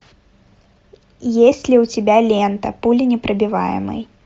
есть ли у тебя лента пуленепробиваемый